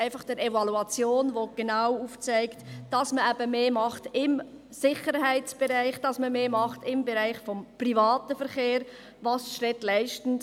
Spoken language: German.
Die Evaluation zeigt genau auf, dass man im Sicherheitsbereich mehr macht, dass man im Bereich des privaten Verkehrs mehr macht, was die Städte leisten.